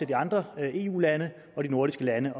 de andre eu lande og de nordiske lande